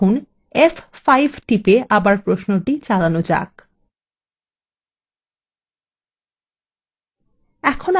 এখন f5 টিপে আবার প্রশ্নটি চালানো যাক